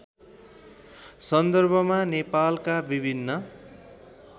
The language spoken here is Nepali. सन्दर्भमा नेपालका विभिन्न